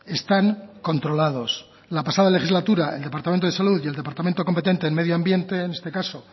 están controlados la pasada legislatura el departamento de salud y el departamento competente en medio ambiente en este caso